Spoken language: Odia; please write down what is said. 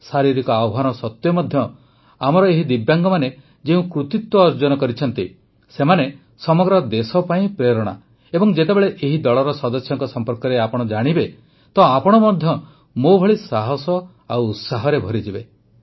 ଶାରୀରିକ ଆହ୍ୱାନ ସତ୍ୱେ ମଧ୍ୟ ଆମର ଏହି ଦିବ୍ୟାଙ୍ଗମାନେ ଯେଉଁ କୃତିତ୍ୱ ଅର୍ଜନ କରିଛନ୍ତି ସେମାନେ ସମଗ୍ର ଦେଶ ପାଇଁ ପ୍ରେରଣା ଏବଂ ଯେତେବେଳେ ଏହି ଦଳର ସଦସ୍ୟଙ୍କ ସମ୍ପର୍କରେ ଜାଣିବେ ତ ଆପଣ ମଧ୍ୟ ମୋ ଭଳି ସାହସ ଆଉ ଉତ୍ସାହରେ ଭରିଯିବେ